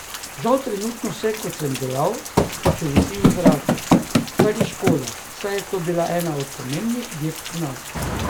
Žal trenutno vse, kot sem dejal, še visi v zraku, kar je škoda, saj je to bila tudi ena bolj pomembnih dirk pri nas.